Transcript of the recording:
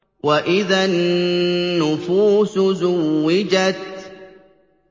وَإِذَا النُّفُوسُ زُوِّجَتْ